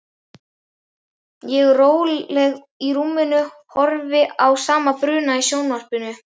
Ég róleg í rúminu horfi á sama bruna í sjónvarpinu.